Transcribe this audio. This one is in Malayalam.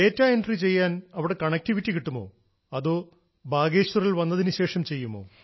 ഡാറ്റ എൻട്രി ചെയ്യാൻ അവിടെ കണക്ടിവിറ്റി കിട്ടുമോ അതോ ബാഗേശ്വർ വന്നതിനു ശേഷം ചെയ്യുമോ